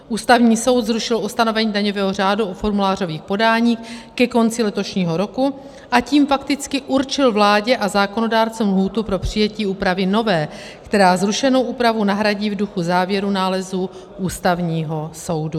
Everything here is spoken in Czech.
Ústavní soud zrušil ustanovení daňového řádu u formulářových podání ke konci letošního roku, a tím fakticky určil vládě a zákonodárcům lhůtu pro přijetí úpravy nové, která zrušenou úpravu nahradí v duchu závěrů nálezu Ústavního soudu.